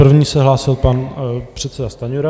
První se hlásil pan předseda Stanjura.